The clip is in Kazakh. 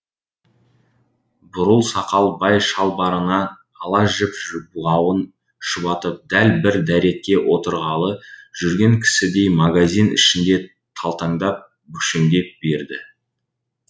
бурыл сақал бай шалбарының ала жіп бауын шұбатып дәл бір дәретке отырғалы жүрген кісідей магазин ішінде талтаңдап бүкшеңдей берді